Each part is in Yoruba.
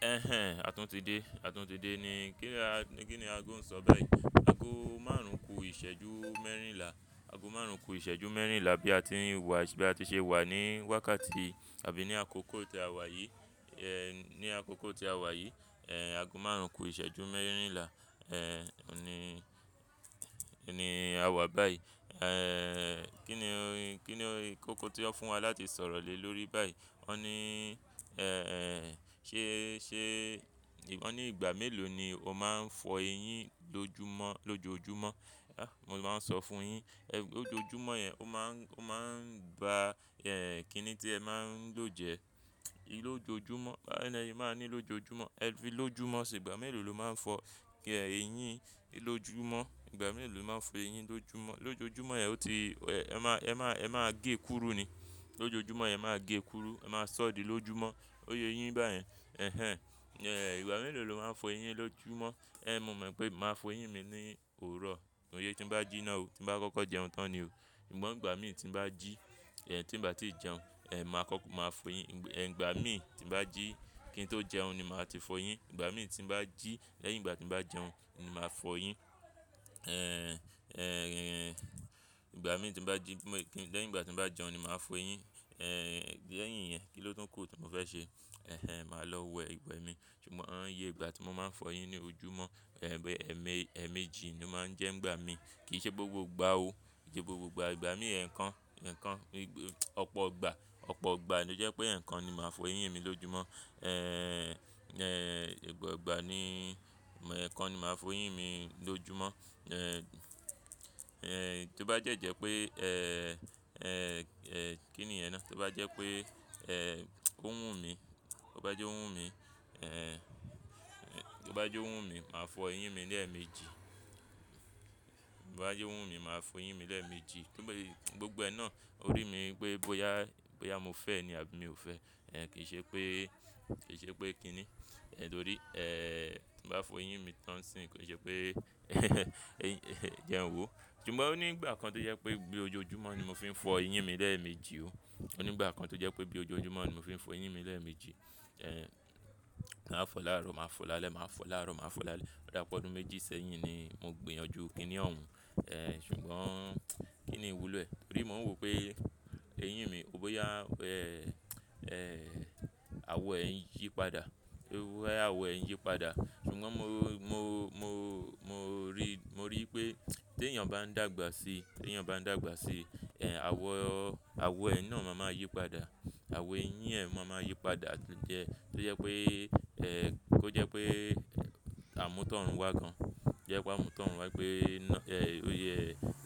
Ẹhẹ́n, àtún ti dé, àtún ti dé ni ki ani kí ni aago ń sọ báyìí? Aago márùn-ún kù ìṣẹ́jú mẹ́rìnlá. Aago márùn-ún kù ìṣẹ́jú mẹ́rìnlá bí a ti ṣe wà ní wákàtí àbí ní àkókò tí a wà yìí. Ẹ̀, ní àkókò tí a wà yìí. Ẹ̀, aago márùn-ún kù ìṣẹ́jú mẹ́rìnlá. Ẹ̀, òní ni a wà báyìí ehn ẹ̀, kí ni orin, kí ni orin kókó tí ó fún wa láti sọ̀rọ̀ lé lórí báyìí? Ọ ní ẹ̀, ṣe, ṣe, ó ní ìgbà mélòó ni o máa ń fọ eyín lójúmọ́, lójoojúmọ́? Mo máa ń sọ fún yin, lójoojúmọ́ yẹn, ó máa ń, ó máa ń ba ẹ̀, kíni tí ẹ máa ń lò jẹ lójoojúmọ́. Ẹ máa ní lójoojúmọ́. Ẹ fi lójúmọ́ ṣe ìgbà mélòó lo máa ń fọ ẹyín lójúmọ́. Ìgbà mélòó lo máa ń fọ eyín lójúmọ́? Lójojúmọ́ yẹn o ti, ẹ máa, ẹ máa gé e kúru ni. Lójojúmọ́ yẹn ẹ máa gé e kúru. Ẹ máa sọ di lójúmọ́. Ó yé yin báyẹn. Ẹhẹ́n, ẹ̀, ìgbà mélòó lo máa ń fọ eyín lójúmọ́? Ẹ̀, mo mọ̀ wipé màá fọ eyín mi ní òorọ. Ko n ye tí ń bá jí iná òó, tí ń bá kọ́kọ́ jẹun tán ni o. Ṣùgbọ́n ìgbà mi tí ń bá jí, ẹ̀, tí ń bá ti jẹun, ẹ̀, màá kọ́kọ́, màá fọ eyín. Ẹ̀, ìgbà mi tí ń bá jí kí ń tó jẹun ni màá ti fọ eyín. Ìgbà mi tí ń bá jí lẹ́yìn ìgbà tí ń bá jẹun ni màá fọ eyín. Ẹ̀, ẹ̀, ìgbà mi tí ń bá jí lẹ́yìn ìgbà tí ń bá jẹun ni màá fọ eyín. Ẹ̀, lẹ́yìn yẹn, kí ló tún kù tó mo fẹ́ ṣe? Ẹhẹ́n, màá lọ wẹ ìwẹ mi. Ṣùgbọ́n iyé ìgbà tí mo máa ń fọ eyín ní ojúmọ́. Ẹ̀, ẹ̀, èmejì ni o máa ń jẹ n gbà mii. Kì í ṣe gbogbo gbà o. Kì í ṣe gbogbo gba. Ìgbà mi ẹ̀kan, ẹ̀kan, ọ̀pọ̀ ọ̀gbà, ọ̀pọ̀ ọ̀gbà ni ó jẹ́ pé ẹ̀kan ni màá fọ eyín mi lójúmọ́. Ẹ̀, ẹ̀, ọpọ ọ̀gbà ni ẹ̀ kan ni màá fọ eyín mi lójúmọ́. Ẹ̀, ẹẹ tó bá jẹ́ jẹ́ pé, ẹ̀, ẹ́, kí ni yẹn náà? Tó bá jẹ́ pé, ẹ́, ó wù mí, ó bá jẹ́ ó wù mí, ẹ́, tó bá jẹ́ ó wù mí, màá fọ eyín mi lẹ́ẹ̀mejì. Tó bá jẹ́ ó wù mí, màá fọ eyín mi lẹ́ẹ̀mejì. Gbogbo ẹ náà, orí mi pé bóyá, bóyá mo fẹ́ ẹ ni àbí mi ò fẹ́ ẹ. Ẹ̀, kì í ṣe pé, kì í ṣe pé kíni. Ẹ̀, torí, ẹ́, tí ń bá fọ eyín mi tán sín kì í n ṣe pé jẹn wò. Ṣùgbọ́n ó ní ìgbà kan tó jẹ́ pé bí ojojúmọ́ ni mo fi ń fọ eyín mi lẹ́ẹ̀mejì o. Ó ní ìgbà kan tó jẹ́ pé bí ojojúmọ́ ni mo fi ń fọ eyín mi lẹ́ẹ̀mejì. Ẹ̀, màá fọ láàárọ̀, màá fọ lálẹ́, màá fọ láàárọ̀, màá fọ lálẹ́. Ọ̀dà ọdún méjì sẹ́yìn ni mo gbìyànjú kí ni ọ̀hun ẹ̀, ṣùgbọ́n kí ni ìwúlò ẹ̀? Torí mo ń wò pé eyín mi, bóyá, ẹ́, ẹ àwọ̀ ẹ ń yí padà. Bóyá àwọ̀ ẹ ń yí padà. Ṣùgbọ́n mo, mo, mo mo rí, mo rí pé tí èèyàn bá ń dàgbà síi, tí èèyàn bá ń dàgbà síi, ẹ̀, àwọ̀, àwọ̀ ẹ náà máa ma yí padà. Àwọ̀ eyín ẹ máa ma yí padà tó jẹ́, tó jẹ́ pé, ẹ́, kó jẹ́ pé àmútọ̀run wà gan an. Kó jẹ́ pé àmútọ̀run wà gan an, pé, ẹ́, ó yẹ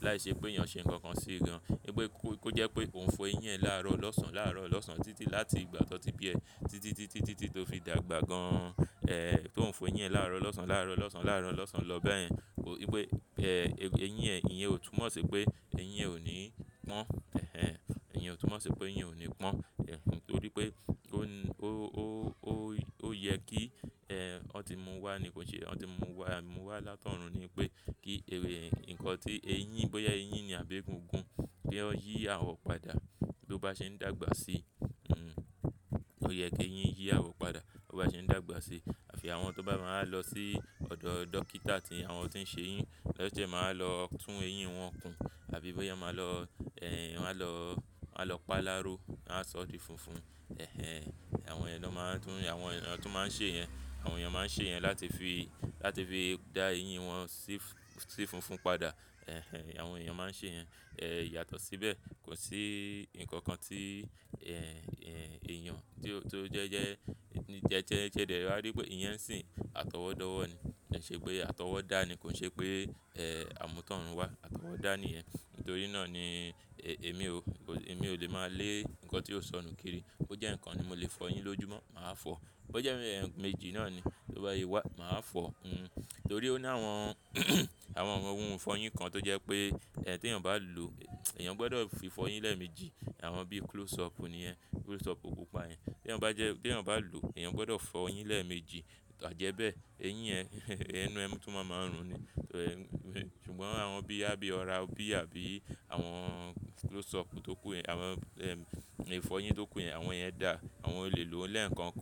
láì ṣe pé èèyàn ṣe nǹkan kan sí i gan an. Pé kó jẹ́ pé òun fọ eyín ẹ láàárọ̀ lọ́sàn-án, láàárọ̀ lọ́sàn-án títí láti ìgbà tọ́ bí ẹ títí, títí, títí tó fi dàgbà gan an. Ẹ́, tó ń fọ eyín ẹ láàárọ̀ lọ́sàn-án, láàárọ̀ lọ́sàn-án, láàárọ̀ lọ́sàn-án lọ báyẹn. Ní pe ẹ́, eyín ẹ, ìyẹn ò túmọ̀ sí pé eyín ẹ ò ní pọ́n. Ẹhẹ́n, ìyẹn ò túmọ̀ sí pé eyín ẹ ò ní pọ́n. Torí pé ó, ó, ó, ó yẹ kí, ẹ́, ọ́ ti mú wá ni kò ṣe, ọ́ ti mú wá, mú wá látọ̀run ni pé kí ewé, nǹkan tí eyín, bóyá eyín ni àbí egungun, pé ọ yí àwọ̀ padà tó bá ṣe ń dàgbà sí i. Hmm. Ó yẹ kí eyín yí àwọ̀ padà tó bá ṣe ń dàgbà sí i. Àfi àwọn tó bá máa wa lọ sí ọ̀dọ̀ dọkítà tí àwọn tí ń ṣe yin, lọ́ ṣẹ máa wa lọ tún eyín wọn kún àbí bóyá ẹ máa wa lọ ẹ wán lọ, wán lọ pa á láàárọ̀, wán sọ ọ́ di funfun. Ẹhẹ́n, àwọn yẹn lọ máa tún, àwọn yẹ́n tó máa ń ṣe yẹn, àwọn èèyàn máa ń ṣe yẹn láti fi, láti fi dá eyín wọn sí, sí funfun padà. Ẹhẹ́n, àwọn èèyàn máa ń ṣe yẹn. Ẹ́, ì yàtọ̀ síbẹ̀, kò sí nǹkan kan tí, ẹ́, èèyàn tí ó, tí ó jẹ́, jẹ́, jẹ́, jẹ́dẹ̀ ẹ bá rí i pé iyẹn ń sìn àtọwọ́dọ́wọ́ ni. Ẹ ṣé pé àtọwọ́dá ni, kò n ṣe pé, ẹ́, àmútọ̀run wà. Àtọwọ́dá ni ẹ. Nítorí náà ni èmi ò, èmi ò lè máa lé nǹkan tí óò sọnù kiri. Ó jẹ́ nǹkan ni mo lè fọ eyín lójúmọ́, màá fọ. Ó jẹ́ ẹẹ̀mejì náà ni tó bá ye wá, màá fọ. Hmm. Torí ó ní àwọn àwọn ohun ìfọyín kan tó jẹ́ pé, ẹ́, tí èèyàn bá lò, èèyàn gbọdọ̀ fi fọ eyín lẹ́ẹ̀mejì. Àwọn bí close-up ni yẹn. Close-up pupa yẹn tí èèyàn bá jẹ́, tí èèyàn bá lò, èèyàn gbọdọ̀ fọ eyín lẹ́ẹ̀mejì. Àjẹ́bẹ́ eyín ẹ, ẹnu ẹ tún máa ma run ni. Ṣùgbọ́n àwọn bí, yàbí ọ̀rá bí àbí àwọn close-up tó kù, àwọn, erm, ìfọyín tó kù yẹn, àwọn yẹn dà. Àwọn ò lè lò ó lẹ́ẹ̀kan kan.